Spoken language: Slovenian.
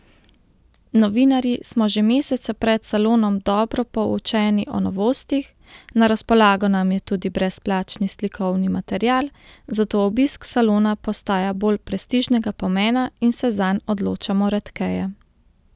Novinarji smo že mesece pred salonom dobro poučeni o novostih, na razpolago nam je tudi brezplačni slikovni material, zato obisk salona postaja bolj prestižnega pomena in se zanj odločamo redkeje.